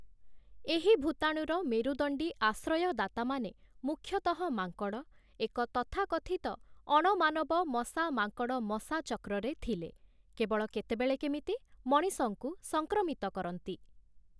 ଏହି ଭୂତାଣୁର ମେରୁଦଣ୍ଡୀ ଆଶ୍ରୟଦାତାମାନେ ମୁଖ୍ୟତଃ ମାଙ୍କଡ଼, ଏକ ତଥାକଥିତ ଅଣମାନବ 'ମଶା-ମାଙ୍କଡ଼-ମଶା' ଚକ୍ରରେ ଥିଲେ, କେବଳ କେତେବେଳେ କେମିତି ମଣିଷଙ୍କୁ ସଂକ୍ରମିତ କରନ୍ତି ।